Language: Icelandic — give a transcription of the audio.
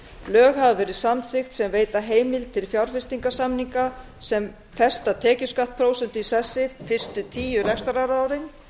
lög hafa verið samþykkt sem veita heimild til fjárfestingarsamninga sem festa tekjuskattsprósentu í sessi fyrstu tíu rekstrarárin